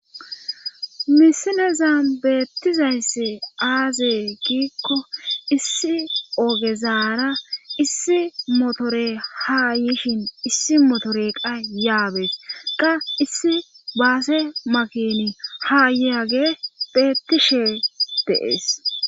misieza beettizayssi aazee giikko issi ogezaara issi motore ha yishin issi motore qa yaabees ga issi baase makini haayyaage beettishe de'ees